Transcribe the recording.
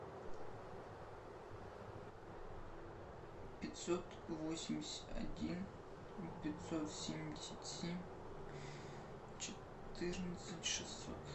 пятьсот восемьдесят один пятьсот семьдесят семь четырнадцать шестьсот